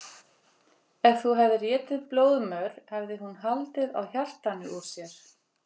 Ef þú hefðir étið blóðmör hefði hún haldið á hjartanu úr sér.